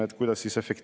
Head kolleegid!